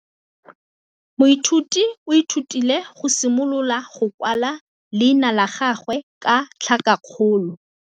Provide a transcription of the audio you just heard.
Moithuti o ithutile go simolola go kwala leina la gagwe ka tlhakakgolo.